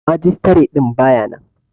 Magistare din ba ya nan.